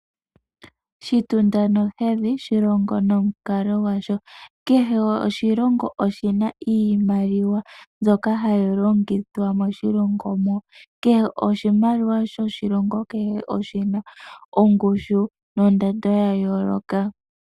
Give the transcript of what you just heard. Shitunda nohedhi shilongo nomukalo gwasho. Kehe oshilongo oshina iimaliwa mbyoka hayi longithwa moshilongo mo. Kehe oshimaliwa shoshilongo kehe oshina ongushu nondando ya yooloka.